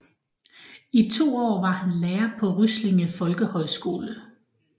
I to år var han lærer på Ryslinge Folkehøjskole